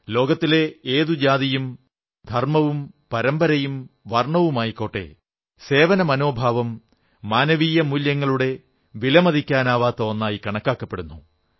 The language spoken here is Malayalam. ലോകത്തിലെ ഏതു ജാതിയും ധർമ്മവും പരമ്പരയും വർണ്ണവുമായിക്കോട്ടെ സേവനമനോഭാവം മാനവീയ മൂല്യങ്ങളുടെ വിലമതിക്കാനാവാത്ത ഒന്നായി കണക്കാക്കുന്നു